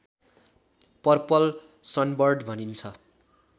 purple sunbird भनिन्छ